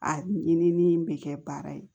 A ɲinini bɛ kɛ baara ye